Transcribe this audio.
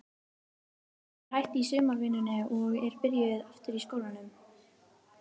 Hún er hætt í sumarvinnunni og er byrjuð aftur í skólanum.